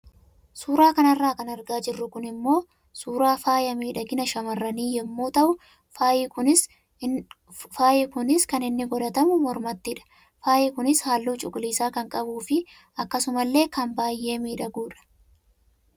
Suura kanarraa kan argaa jirru kun immoo suuraa faaya miidhagina shammarranii yemmuu tahu faayyi kunis kan inni godhatamu mormattidha. Faayyi kunis halluu cuquliisaa kan qabuu fi akkasuma illee kan baayee miidhagudha.